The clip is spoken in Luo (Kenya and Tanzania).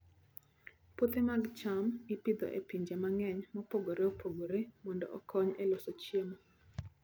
Puothe mag cham ipidho e pinje mang'eny mopogore opogore mondo okony e loso chiemo.